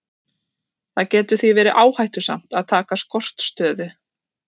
Það getur því verið áhættusamt að taka skortstöðu.